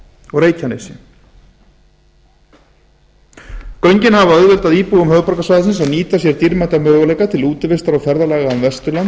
og reykjanesi göngin hafa auðveldað íbúum á höfuðborgarsvæðinu sem nýta sér dýrmæta möguleika til útivistar og ferðalaga um vesturland